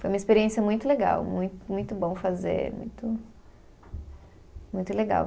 Foi uma experiência muito legal, mui muito bom fazer, muito muito legal.